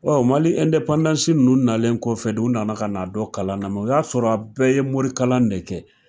Ɔn mali nunnu nalen kɔfɛ de, u nana ka na don kalan na . o y'a sɔrɔ a bɛɛ ye morikalan de kɛ.